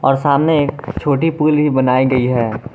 और सामने एक छोटी पुल भी बनायी गई है।